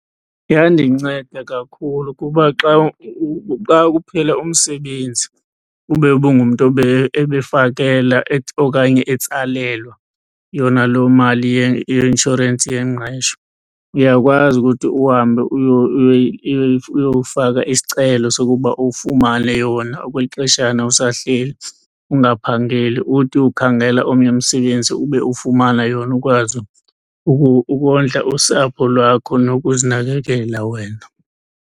Yandinceda kakhulu kuba xa xa kuphela umsebenzi ube ubungumntu ebefakela okanye etsalelwa yona loo mali yeinshorensi yengqesho uyakwazi ukuthi uhambe uyofaka isicelo sokuba ufumane yona okwexeshana usahleli ungaphangeli. Uthi ukhangela omnye umsebenzi ube ufumana yona ukwazi ukondla usapho lwakho nokuzinakekela wena.